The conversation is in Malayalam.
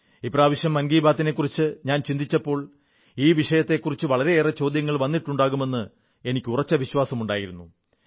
ഇപ്രാവശ്യം മൻ കീ ബാത് നെക്കുറിച്ചു ഞാൻ ചിന്തിച്ചപ്പോൾ ഈ വിഷയത്തെക്കുറിച്ച് വളരെയേറെ ചോദ്യങ്ങൾ വന്നിട്ടുണ്ടാകുമെന്ന് എനിക്ക് ഉറച്ച വിശ്വാസമുണ്ടായിരുന്നു